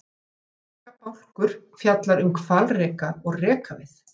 Rekabálkur fjallar um hvalreka og rekavið.